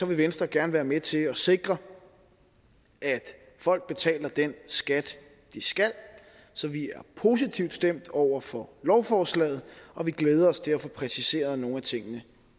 vil venstre gerne være med til at sikre at folk betaler den skat de skal så vi er positivt stemt over for lovforslaget og vi glæder os til at få præciseret nogle af tingene